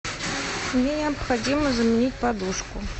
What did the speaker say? мне необходимо заменить подушку